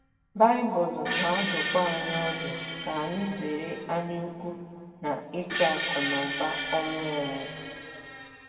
Baịbụl na - adụkwa anyị ọdụ ka anyị zere anyaukwu na ịchụ akụnụba ọnwụ ọnwụ.